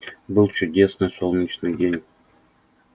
был чудесный солнечный день